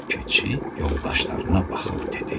Keçi yoldaşlarına baxıb dedi: